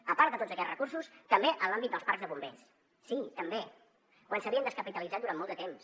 a part de tots aquests recursos també en l’àmbit dels parcs de bombers sí també quan s’havien descapitalitzat durant molt de temps